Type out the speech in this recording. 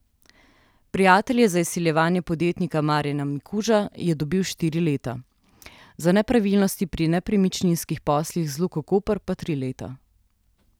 Prijatelj je za izsiljevanje podjetnika Marjana Mikuža je dobil štiri leta, za nepravilnosti pri nepremičninskih poslih z Luko Koper pa tri leta.